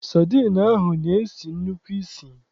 Sadịn ahụ na-esi nnukwu isì.